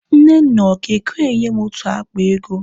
Nnenna ọ ga-ekwe enye m otu akpa ego.